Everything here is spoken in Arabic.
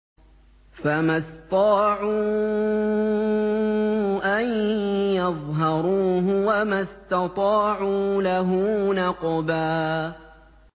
فَمَا اسْطَاعُوا أَن يَظْهَرُوهُ وَمَا اسْتَطَاعُوا لَهُ نَقْبًا